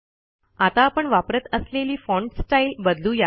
आता आपण वापरत असलेली फाँट स्टाईल बदलू या